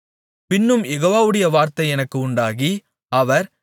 பின்னும் யெகோவாவுடைய வார்த்தை எனக்கு உண்டாகி அவர்